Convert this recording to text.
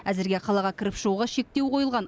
әзірге қалаға кіріп шығуға шектеу қойылған